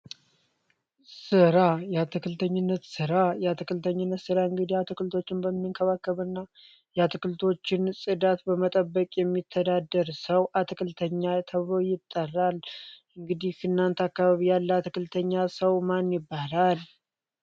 ሥራ የአትክልተኝነት ስራ የአትክልተኝነት ስራ እንግዲህ አትክልቶችን በመንከባከብ እና የአትክልቶችን ጽዳት በመጠበቅ የሚተዳደር ሰው አትክልተኛ ተብሎ ይጠራል። እንግዲህ እናንተ አካባቢ ያለ አትክልተኛ ሰው ማን ይባላል?